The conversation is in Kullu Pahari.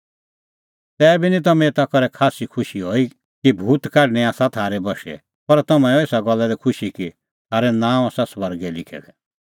तैबी निं तम्हैं एता करै खास्सै खुशी हई कि भूत काढणैं आसा थारै बशै पर तम्हैं हऐ एसा गल्ला लै खुशी कि थारै नांअ आसा स्वर्गै लिखै दै